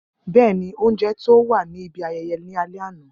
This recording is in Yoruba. Bẹẹni, ounjẹ to wa ni ibi ayẹyẹ ni alẹ ana.